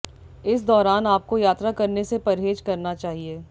इस दौरान आपको यात्रा करने से परहेज करना चाहिए